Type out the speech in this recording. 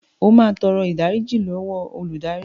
O máa tọrọ ìdáríjì lọ́wọ́ olùdarí.